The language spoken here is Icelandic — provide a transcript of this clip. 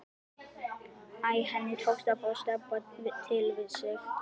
Æ, henni tókst að fá Stebba til við sig.